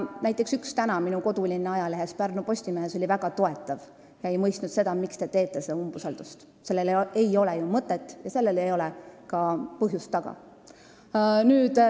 Näiteks oli täna minu kodulinna ajalehes Pärnu Postimees väga toetav juhtkiri, seal ei mõistetud seda, miks te umbusaldust avaldate, sest sellel ei ole ju mõtet ja sellel ei ole ka põhjust taga.